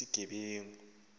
sisistoba